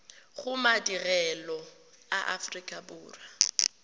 go madirelo a aforika borwa